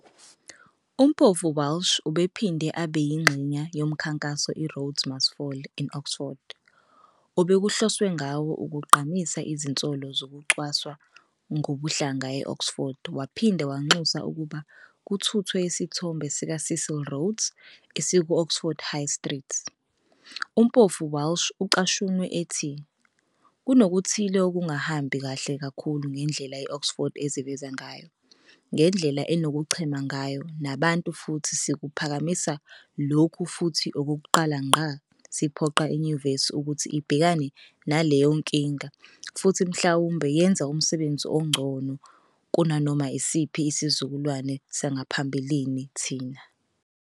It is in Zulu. UMpofu-Walsh ubephinde abe yingxenye yomkhankaso iRhodes Must Fall in Oxford, obekuhloswe ngawo ukugqamisa izinsolo zokucwaswa ngokobuhlanga e-Oxford waphinde wanxusa ukuba kuthuthwe isithombe sikaCecil Rhodes esiku-Oxford High Street. UMpofu-Walsh ucashunwe ethi-"Kunokuthile okungahambi kahle kakhulu ngendlela i-Oxford eziveza ngayo, ngendlela enokuchema ngayo nabantu futhi sikuphakamisa lokho futhi okokuqala ngqa siphoqa inyuvesi ukuthi ibhekane naleyo nkinga futhi mhlawumbe yenze umsebenzi ongcono kunanoma isiphi isizukulwane sangaphambilini thina.